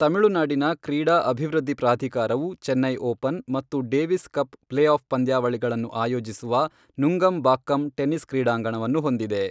ತಮಿಳುನಾಡಿನ ಕ್ರೀಡಾ ಅಭಿವೃದ್ಧಿ ಪ್ರಾಧಿಕಾರವು, ಚೆನ್ನೈ ಓಪನ್ ಮತ್ತು ಡೇವಿಸ್ ಕಪ್ ಪ್ಲೇ ಆಫ್ ಪಂದ್ಯಾವಳಿಗಳನ್ನು ಆಯೋಜಿಸುವ ನುಂಗಂಬಾಕ್ಕಂ ಟೆನಿಸ್ ಕ್ರೀಡಾಂಗಣವನ್ನು ಹೊಂದಿದೆ.